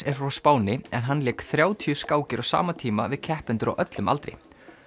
er frá Spáni en hann lék þrjátíu skákir á sama tíma við keppendur á öllum aldri